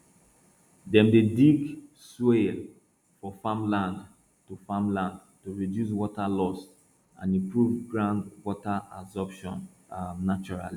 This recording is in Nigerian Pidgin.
dem dey dig swales for farmland to farmland to reduce water loss and improve ground water absorption um naturally